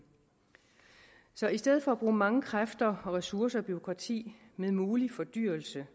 så i stedet for at bruge mange kræfter og ressourcer og bureaukrati med mulig fordyrelse